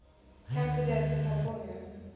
cancer deaths in california